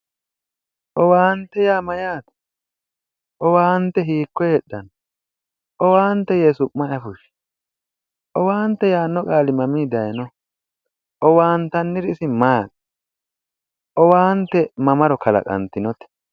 Owaante yaa mayyaate? owaante hiikko heedhao? yowaante yee su'mase ayifushshewo? owaante yaanno qaali mamiinni daayiinoh? owaantanniri maati? owaante mamaro kalaqantinote?